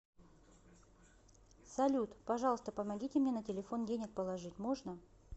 салют пожалуйста помогите мне на телефон денег положить можно